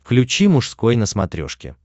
включи мужской на смотрешке